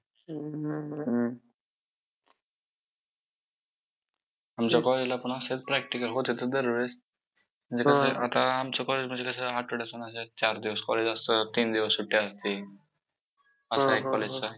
असे म्हटले जाते की जगातील जे great seventeen राजे होते.त्यांची नावे घेतली जातात.म्हणजेच नेपोलियन पासून तर त्यांच्या पटीने आपले राजे फार वेगळे होते.आपल्या राजांच्या